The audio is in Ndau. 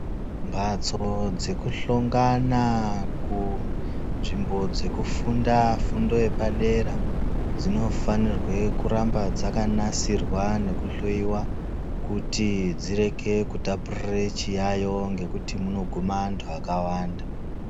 Mbatso dzekuhlongana kunzvimbo dzekufunda fundo yepadera dzinofanirwe kuramba dzakanasirwa nekuhloyiwa kuti dzireke kutapurire chiyayo ngekuti munogume antu akawanda.